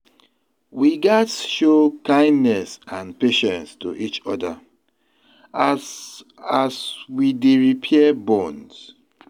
We gats show kindness and patience to each other as as we dey repair bonds.